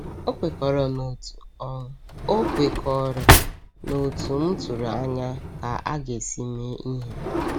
O kwekọrọ n’otú O kwekọrọ n’otú m tụrụ anya ka a ga-esi mee ihe.